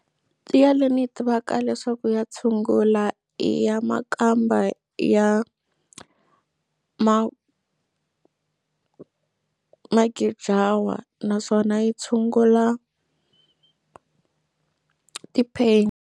Tiya leyi ni yi tivaka leswaku ya tshungula i ya makamba ya magijawa naswona yi tshungula ti-pain.